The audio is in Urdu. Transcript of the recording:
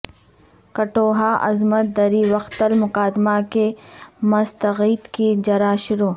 کٹھوعہ عصمت دری وقتل مقدمہ کے مستغیث کی جرح شروع